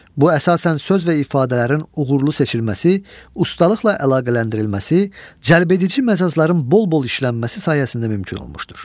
Bu əsasən söz və ifadələrin uğurlu seçilməsi, ustalıqla əlaqələndirilməsi, cəlbedici məcazların bol-bol işlənməsi sayəsində mümkün olmuşdur.